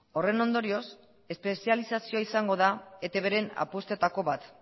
horren ondorioz espezializazioa izango da etbren apustuetako bat